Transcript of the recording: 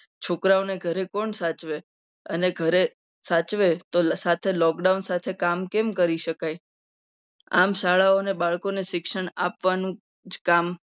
છોકરાઓને ઘરે કોણ સાચવે અને ઘરે સાચવે તો સાથે lockdown સાથે કામ કેમ કરી શકાય? આમ શાળાઓને બાળકોને શિક્ષણ આપવાનું કામ